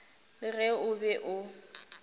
le ge o be o